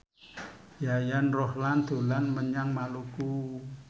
Yayan Ruhlan dolan menyang Maluku